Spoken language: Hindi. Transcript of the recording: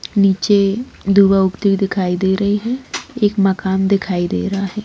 नीचे दो औरतें दिखाई दे रही है एक मकान दिखाई दे रहा है।